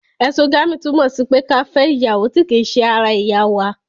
Ẹ̀sogami, túmọ̀ sí pé ká fẹ ìyàwó ti ki se ara ẹ̀yà wa